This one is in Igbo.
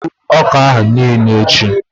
ị ga-egbu ọka ahụ niile echi!